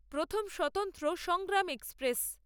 প্রথম স্বতন্ত্র সংগ্রাম এক্সপ্রেস